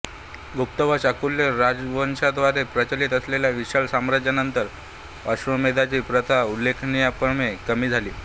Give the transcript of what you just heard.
गुप्त व चालुक्य राजवंशांद्वारे प्रचलित असलेल्या विशाल साम्राज्यांनंतर अश्वमेधाची प्रथा उल्लेखनीयपणे कमी झाली